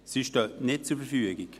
Sie stehen nicht zur Verfügung.